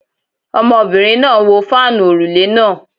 Ọmọbìnrin náà ń wo fáànù òrùlé náà